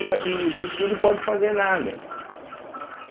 E a e Brookfield não pode fazer nada.